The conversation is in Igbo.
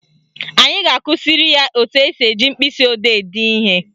Anyị ga-akụziri ya etu esi eji mkpịsịodee ede ihe